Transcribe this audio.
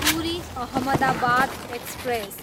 Puri, Ahmedabad express